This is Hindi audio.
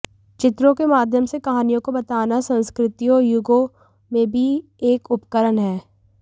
चित्रों के माध्यम से कहानियों को बताना संस्कृतियों और युगों में भी एक उपकरण है